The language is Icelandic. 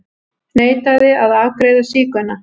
Neitaði að afgreiða sígauna